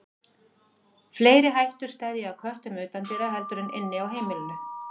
Fleiri hættur steðja að köttum utandyra heldur en inni á heimilinu.